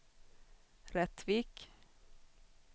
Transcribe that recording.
Rättvik